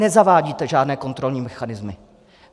Nezavádíte žádné kontrolní mechanismy.